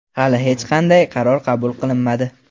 Hali hech qanday qaror qabul qilinmadi.